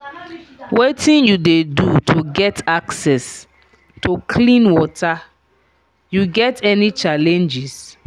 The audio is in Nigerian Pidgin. wetin you dey do to get access to clean water you get any challenges?